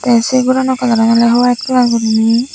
tey se gorano kalaran olodey white kalar goriney.